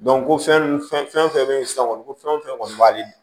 ko fɛn fɛn bɛ yen sisan kɔni ko fɛn fɛn kɔni b'ale